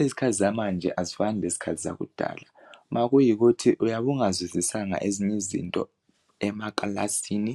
Izikhathi zamanje azifani lezikhathi zakudala ma kuyikuthi uyabe ungazwisisanga ezinye izinto emakilasini